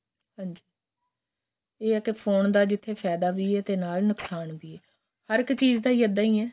ਹਾਂਜੀ ਏਹ ਹੈ ਫੋਨ ਦਾ ਜਿਥੇ ਫਾਇਦਾ ਵੀ ਏ ਤੇ ਨਾਲ ਨੁਕਸ਼ਾਨ ਵੀ ਏ ਹਰਕ਼ ਚੀਜ ਹੀ ਏਦਾ ਹੀ ਹੈ